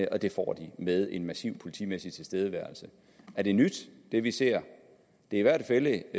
og det får de med en massiv politimæssig tilstedeværelse er det nyt det vi ser det er i hvert fald